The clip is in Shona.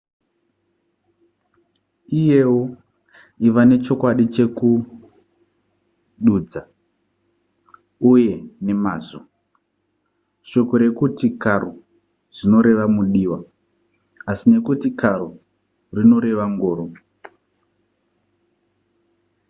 uyewo iva nechokwadi chekududza r uye rr nemazvo shoko rekuti caro zvinoreva mudiwa asi rekuti carro rinoreva ngoro